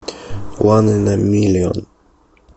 ван ин э миллион